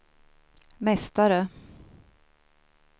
mästare